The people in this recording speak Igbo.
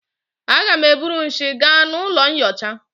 Aga m eburu nshi gaa n'ụlọ nyocha